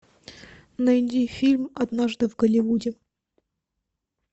найди фильм однажды в голливуде